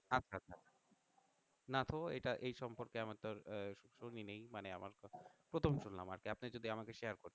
না তো এইটা এই সম্পর্কে আহ শুনিনাই মানে আমার প্রথম শুনলাম আরকি আপনি যদি আমাকে শেয়ার করতেন